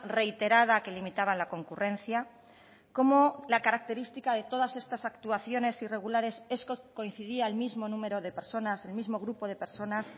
reiterada que limitaban la concurrencia cómo la característica de todas estas actuaciones irregulares coincidía el mismo número de personas el mismo grupo de personas